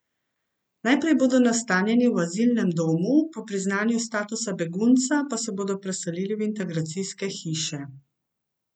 Najprej bodo nastanjeni v azilnem domu, po priznanju statusa begunca pa se bodo preselili v integracijske hiše.